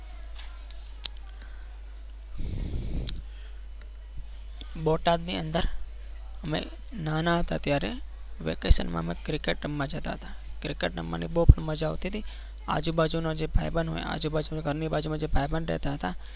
બોટાદ ની અંદર મેં નાના હતા ત્યારે વેકેશનમાં અમે cricket રમવા જતા હતા cricket રમવાની પણ બહુ મજા આવતી હતી. આજુબાજુના જે ભાઈબંધ હોય આજુબાજુ જે ઘરની બાજુ જે ભાઈબંધ રહેતા હતા.